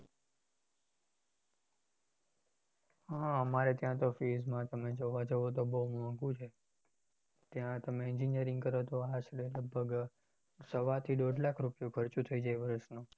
હા અમારે ત્યાતો fees માં જોવા જોતો બહુ મોંઘુ છે ત્યાં તમે engineering કરો તો લગભગ સવા થી દોઢ લાખ નો ખર્ચો થઇ જાય વર્ષનો